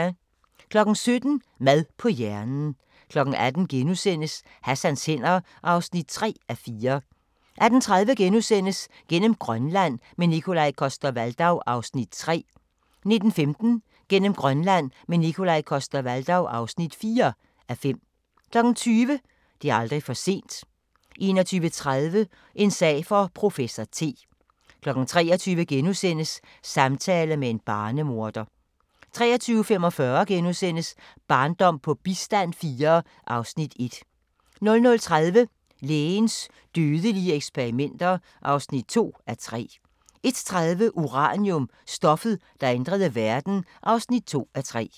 17:00: Mad på hjernen 18:00: Hassans hænder (3:4)* 18:30: Gennem Grønland – med Nikolaj Coster-Waldau (3:5)* 19:15: Gennem Grønland – med Nikolaj Coster-Waldau (4:5) 20:00: Det er aldrig for sent 21:30: En sag for professor T 23:00: Samtale med en barnemorder * 23:45: Barndom på bistand IV (Afs. 1)* 00:30: Lægens dødelige eksperimenter (2:3) 01:30: Uranium – stoffet, der ændrede verden (2:3)